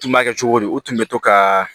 Tun b'a kɛ cogo di u tun bɛ to ka